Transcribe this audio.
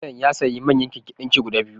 Telan ya sayi manyan keken ɗinki guda biyu